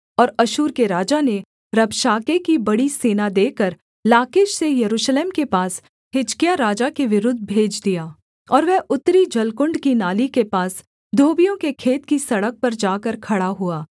और अश्शूर के राजा ने रबशाके की बड़ी सेना देकर लाकीश से यरूशलेम के पास हिजकिय्याह राजा के विरुद्ध भेज दिया और वह उत्तरी जलकुण्ड की नाली के पास धोबियों के खेत की सड़क पर जाकर खड़ा हुआ